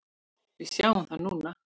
Við sjáum það núna.